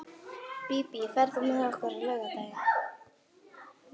Bíbí, ferð þú með okkur á laugardaginn?